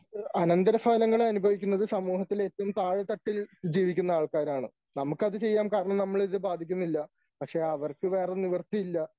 അനന്തരഫലങ്ങൾ അനുഭവിക്കുന്നത് സമൂഹത്തിൽ ഏറ്റവും താഴെതട്ടിൽ ജീവിക്കുന്ന ആൾക്കാരാണ്. നമുക്ക് അത് ചെയ്യാൻ കാരണം നമ്മളിത് ബാധിക്കുന്നില്ല. പക്ഷേ അവർക്ക് വേറെ നിവൃത്തിയില്ല.